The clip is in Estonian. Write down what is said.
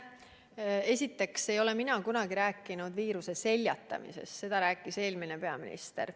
Esiteks ei ole mina kunagi rääkinud viiruse seljatamisest, seda rääkis eelmine peaminister.